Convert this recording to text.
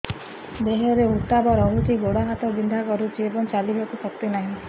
ଦେହରେ ଉତାପ ରହୁଛି ଗୋଡ଼ ହାତ ବିନ୍ଧା କରୁଛି ଏବଂ ଚାଲିବାକୁ ଶକ୍ତି ନାହିଁ